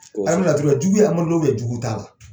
An bɛ laturu lajɛ, jugu ye Amadu la jugu t'a la